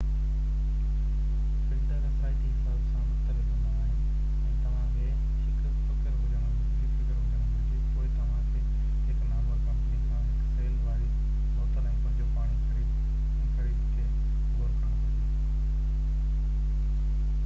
filter اثرائتي حساب سان مختلف هوندا آهن ۽ توهان کي هڪ فڪر هجڻ گهري پوءِ توهان کي هڪ نامور ڪمپني کان هڪ سيل واري بوتل ۾ پنهنجو پاڻي خريد تي غور ڪرڻ گهرجي